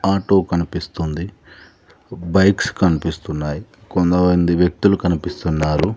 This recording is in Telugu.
ఆటో కనిపిస్తుంది బైక్స్ కనిపిస్తున్నాయి కొంతమంది వ్యక్తులు కనిపిస్తున్నారు.